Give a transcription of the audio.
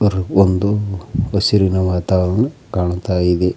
ಬ್ಬರು ಒಂದು ಹಸಿರಿನ ವಾತಾವರನ ಕಾಣ್ತಾ ಇದೆ.